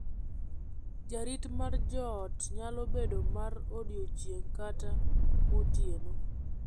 Jarit mar joot nyalo bedo mar odiechieng' kata motieno.